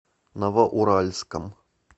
новоуральском